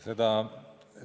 Sain aru.